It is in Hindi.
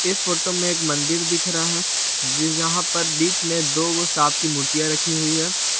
इस फोटो में एक मंदिर दिख रहा है जिस जहां पर बिच में दोगो सांप की मूर्तिया राखी हुई हैं।